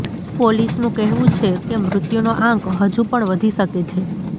પોલીસનું કહેવું છે કે મૃત્યુનો આંક હજુ પણ વધી શકે છે